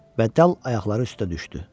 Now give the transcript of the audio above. Və dal ayaqları üstə düşdü.